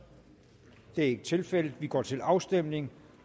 det er ikke tilfældet og vi går til afstemning